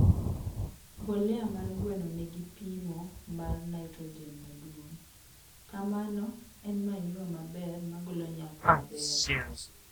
mbolea mar gweno nigi pimo mar nitrojen maduong, kamano en manyua maber magolo nyak maber